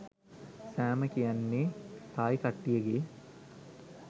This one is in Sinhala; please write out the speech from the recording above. සෑම කියන්නෙ තායි කට්ටියගෙ